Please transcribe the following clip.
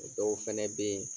O dɔw fɛnɛ be ye